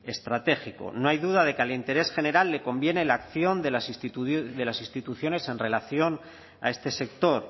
estratégico no hay duda de que al interés general le conviene la acción de las instituciones en relación a este sector